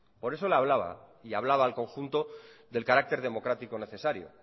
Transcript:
por eso le hablaba y hablaba al conjunto del carácter democrático necesario